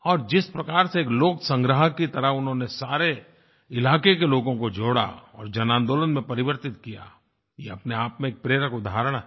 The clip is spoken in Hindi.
और जिस प्रकार से लोकसंग्रह की तरह उन्होंने सारे इलाके के लोगों को जोड़ा और जन आंदोलन में परिवर्तित किया ये अपने आप में एक प्रेरक उदाहरण है